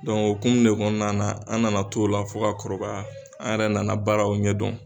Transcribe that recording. hokumun de kɔnɔna na, an nana t'ola fo ka kɔrɔkaya, an yɛrɛ nana baaraw ɲɛ don.